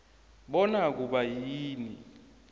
bona kuba yini